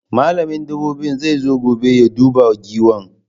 Malamin dabobi zai zo gobe ya duba Giwan